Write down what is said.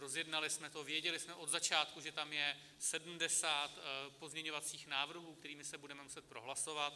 Rozjednali jsme to, věděli jsme od začátku, že tam je 70 pozměňovacích návrhů, kterými se budeme muset prohlasovat.